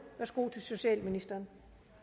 værsgo til socialministeren